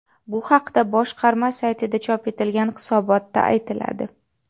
Bu haqda boshqarma saytida chop etilgan hisobotda aytiladi .